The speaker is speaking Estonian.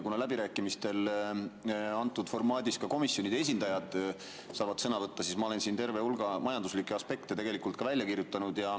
Kuna läbirääkimistel antud formaadis ka komisjonide esindajad saavad sõna võtta, siis ma olen siin terve hulga majanduslikke aspekte tegelikult välja kirjutanud.